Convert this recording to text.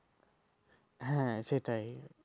হ্যাঁ সেটাই